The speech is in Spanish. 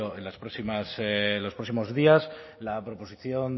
en las próximas en los próximos días la proposición